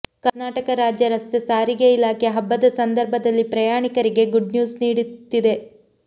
ಕರ್ನಾಟಕ ರಾಜ್ಯ ರಸ್ತೆ ಸಾರಿಗೆ ಇಲಾಖೆ ಹಬ್ಬದ ಸಂದರ್ಭದಲ್ಲಿ ಪ್ರಯಾಣಿಕರಿಗೆ ಗುಡ್ ನ್ಯೂಸ್ ನೀಡುತ್ತಿದೆ